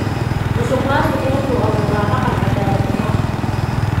Musuqmaasuqu wuxuu abuuraa dhaqan cadaalad darro ah.